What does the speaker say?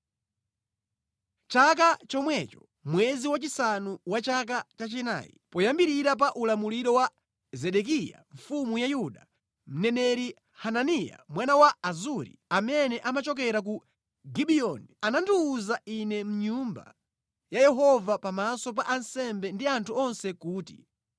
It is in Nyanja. Chaka chomwecho mwezi wachisanu wa chaka chachinayi, poyambirira pa ulamuliro wa Zedekiya mfumu ya Yuda, mneneri Hananiya mwana wa Azuri, amene amachokera ku Gibiyoni, anandiwuza ine mʼNyumba ya Yehova pamaso pa ansembe ndi anthu onse kuti,